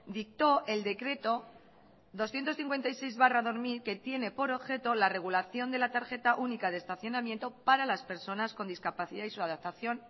dictó el decreto doscientos cincuenta y seis barra dos mil que tiene por objeto la regulación de la tarjeta única de estacionamiento para las personas con discapacidad y su adaptación